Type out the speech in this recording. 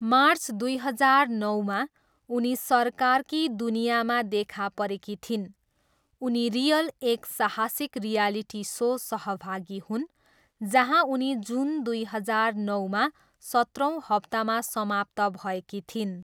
March दुई हजार नौमा, उनी सरकार की दुनियाँमा देखा परेकी थिइन्। उनी रियल एक साहसिक रियलिटी सो सहभागी हुन्, जहाँ उनी जुन दुई हजार नौमा सत्रौँ हप्तामा समाप्त भएकी थिइन्।